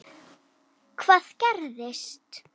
Hvað gerðist?